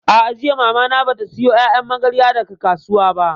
A'a, jiya Mamana bata sayo ƴaƴan magarya daga kasuwa ba